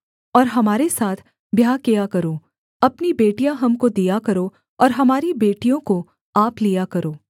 और हमारे साथ ब्याह किया करो अपनी बेटियाँ हमको दिया करो और हमारी बेटियों को आप लिया करो